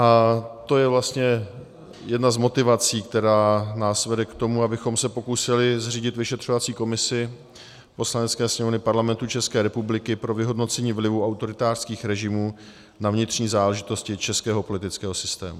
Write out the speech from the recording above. A to je vlastně jedna z motivací, která nás vede k tomu, abychom se pokusili zřídit vyšetřovací komisi Poslanecké sněmovny Parlamentu České republiky pro vyhodnocení vlivu autoritářských režimů na vnitřní záležitosti českého politického systému.